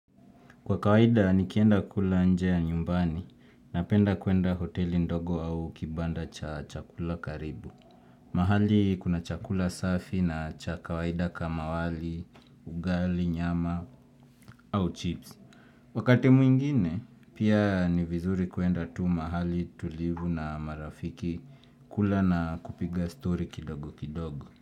Kwa kawaida nikienda kula nje ya nyumbani napenda kuenda hoteli ndogo au kibanda cha chakula karibu. Mahali kuna chakula safi na cha kawaida kama wali, ugali, nyama au chips. Wakati mwingine pia ni vizuri kuenda tu mahali tulivu na marafiki kula na kupiga story kidogo kidogo.